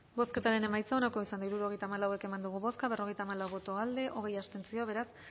bozketaren emaitza onako izan da hirurogeita hamalau eman dugu bozka berrogeita hamalau boto alde hogei abstentzio beraz